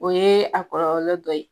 O ye a kɔrɔlɔ dɔ ye